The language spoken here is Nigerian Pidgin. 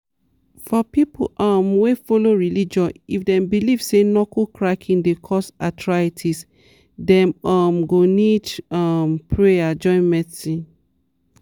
for people um wey follow religion if dem believe say knuckle cracking dey cause arthritis dem um go need um prayer join medicine.